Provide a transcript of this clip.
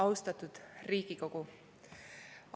Austatud Riigikogu!